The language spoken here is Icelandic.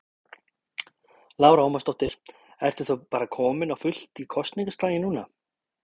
Lára Ómarsdóttir: Ertu þá bara kominn á fullt í kosningaslaginn núna?